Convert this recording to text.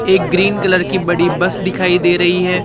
एक green colour की बड़ी बस दिखाई दे रही है।